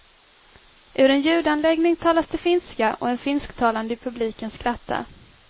Ur en ljudanläggning talas det finska och en finsktalande i publiken skrattar.